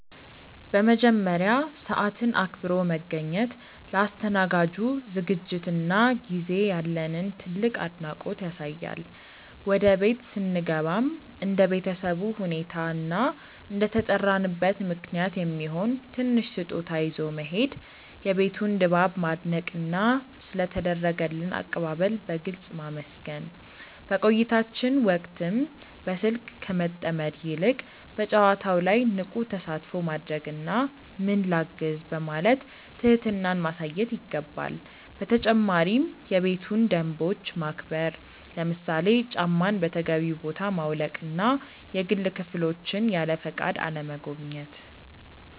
በመጀመሪያ፣ ሰዓትን አክብሮ መገኘት ለአስተናጋጁ ዝግጅትና ጊዜ ያለንን ትልቅ አድናቆት ያሳያል። ወደ ቤት ስንገባም እንደ ቤተሰቡ ሁኔታ እና እንደተጠራንበት ምክንያት የሚሆን ትንሽ ስጦታ ይዞ መሄድ፣ የቤቱን ድባብ ማድነቅና ስለ ተደረገልን አቀባበል በግልጽ ማመስገን። በቆይታችን ወቅትም በስልክ ከመጠመድ ይልቅ በጨዋታው ላይ ንቁ ተሳትፎ ማድረግና "ምን ላግዝ?" በማለት ትህትናን ማሳየት ይገባል። በተጨማሪም የቤቱን ደንቦች ማክበር፣ ለምሳሌ ጫማን በተገቢው ቦታ ማውለቅና የግል ክፍሎችን ያለፈቃድ አለመጎብኘት።